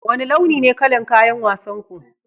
Wane launi ne kayan wasan ku?